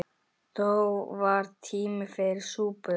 Þó var tími fyrir súpu.